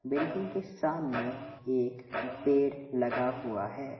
Building के सामने एक पेड़ लगा हुआ है ।